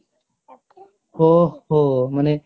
ଓହୋ ମାନେ